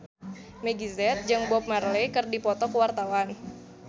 Meggie Z jeung Bob Marley keur dipoto ku wartawan